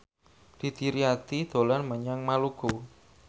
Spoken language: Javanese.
Didi Riyadi dolan menyang Maluku